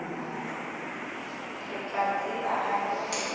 re a tseba hape hore